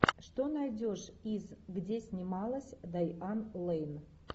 что найдешь из где снималась дайан лейн